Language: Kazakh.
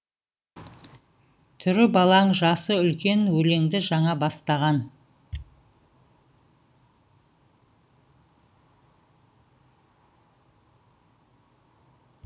түрі балаң жасы үлкен өлеңді жаңа бастаған